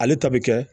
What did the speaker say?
Ale ta bɛ kɛ